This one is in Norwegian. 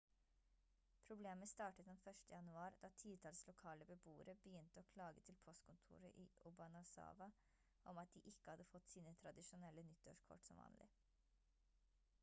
problemet startet den 1. januar da titalls lokale beboere begynte å klage til postkontoret i obanazawa om at de ikke hadde fått sine tradisjonelle nyttårskort som vanlig